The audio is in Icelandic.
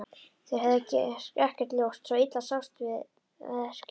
Þeir höfðu ekkert ljós, svo illa sást til við verkið.